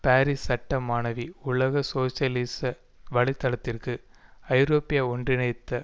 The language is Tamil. பாரிஸ் சட்ட மாணவி உலக சோசியலிச வலை தளத்திற்கு ஐரோப்பிய ஒன்றிணைத்த